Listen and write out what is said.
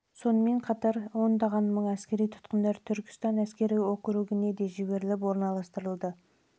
сонымен бірге ондаған мың әскери тұтқындар түркістан әскери округіне де жіберіліп орналастырылады